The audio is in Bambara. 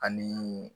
Ani